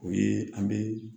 O ye an bɛ